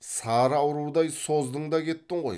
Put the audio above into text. сары аурудай создың да кеттің ғой